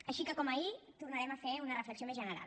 així que com ahir tornarem a fer una reflexió més general